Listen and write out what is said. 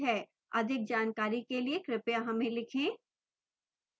अधिक जानकारी के लिए कृपया हमें लिखें